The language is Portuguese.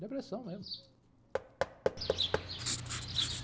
Depressão mesmo.